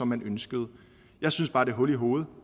man ønskede jeg synes bare det er hul i hovedet